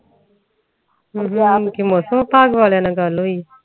ਕਿ ਮੌਸਮ ਭਿਵਗ ਵਾਲਿਆਂ ਨਾਲ ਗੱਲ ਹੋਈ